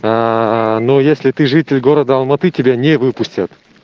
аа ну если ты житель города алматы тебя не выпустят